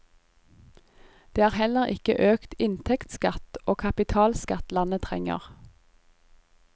Det er heller ikke økt inntektsskatt og kapitalskatt landet trenger.